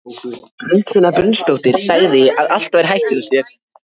Hér er aðeins birt úr dagbókarfærslum fram til ársloka